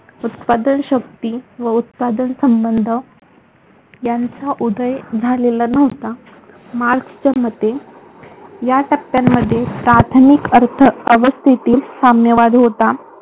उत्पादन शक्ती व उत्पादन संबंध यांचा उदय झालेला नव्हता. मार्क्सच्या मते या टप्प्यांमध्ये प्राथमिक अर्थव्यवस्थेतील साम्यवाद होता.